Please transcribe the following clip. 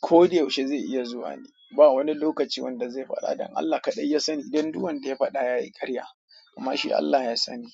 Ko da yaushe zai iya zuwa ne. Ba wani lokaci wanda zai fada dan Allah ne kadai ya sani dan duk wanda ya fada yayi karya kuma shi Allah ya sani.